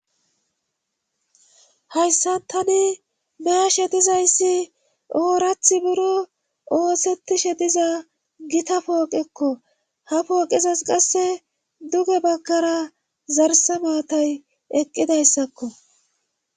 hayssa tani baashe dizayssi oorathi buro oosettishe diza gita pooqekko ha pooqizas qasse duge bagkara zarse maatay eqqidayssakko